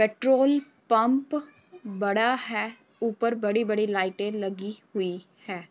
Petrol pump बड़ा है ऊपर बड़ी-बड़ी लाइटे लगी हुई हैं।